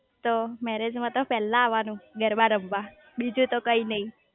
તો મેરેજ માં તો પેલા આવાનું ગરબા રમવા બીજુ તો કઈ નાઈ